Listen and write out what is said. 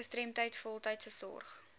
gestremdheid voltydse sorg